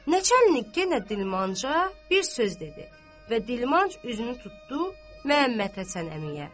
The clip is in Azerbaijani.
Nəçə enlik yenə dilmanca bir söz dedi və dilmanc üzünü tutdu Məhəmmədhəsən əmiyə.